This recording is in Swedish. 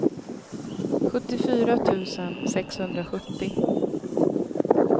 sjuttiofyra tusen sexhundrasjuttio